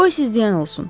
Qoy siz deyən olsun.